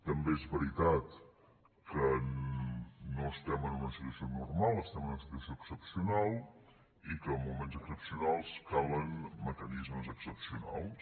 també és veri·tat que no estem en una situació normal estem en una situació excepcional i que en moments excepcionals calen mecanismes excepcionals